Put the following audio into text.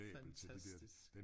Fantastisk